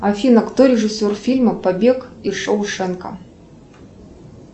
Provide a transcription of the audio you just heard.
афина кто режиссер фильма побег из шоушенка